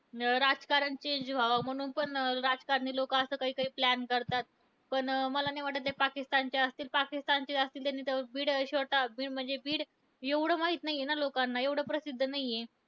अं राजकारण change व्हावा, म्हणून पण राजकारणी लोकं असं काही काही plan करतात. पण मला नाही वाटतं कि ते पाकिस्तानचे असतील. पाकिस्तानचे असते त्यांनी तर बीड छोटा बीड म्हणजे बीड एवढं माहित नाहीये ना लोकांना. एवढं प्रसिद्ध नाहीये.